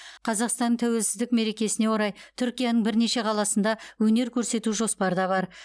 қазақстанның тәуелсіздік мерекесіне орай түркияның бірнеше қаласында өнер көрсету жоспарда бар